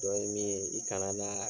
Dɔnki min ye i kana na